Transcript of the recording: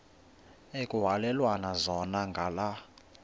ekuhhalelwana zona ngala